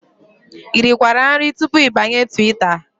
I rikwara nri tupu ịbanye Twitter?